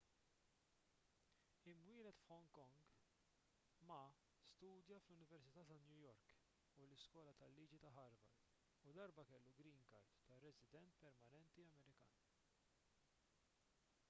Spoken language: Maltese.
imwieled f'hong kong ma studja fl-università ta' new york u l-iskola tal-liġi ta' harvard u darba kellu green card ta' resident permanenti amerikan